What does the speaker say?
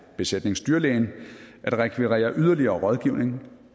besætningsdyrlægen at rekvirere yderligere rådgivning